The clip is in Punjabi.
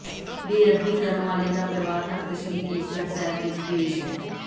ਬੇਅਦਬੀ ਕਰਨ ਵਾਲੇ ਦਾ ਪਰਿਵਾਰ ਤਖ਼ਤ ਸ੍ਰੀ ਕੇਸਗੜ੍ਹ ਸਾਹਿਬ ਵਿੱਚ ਪੇਸ਼